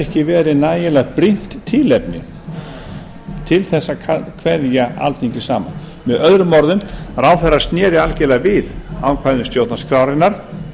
ekki verið nægilega brýnt tilefni til að kveðja alþingi saman með öðrum orðum ráðherra sneri algerlega við ákvæðum stjórnarskrárinnar